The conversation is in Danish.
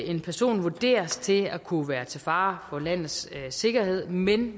en person vurderes til at kunne være til fare for landets sikkerhed men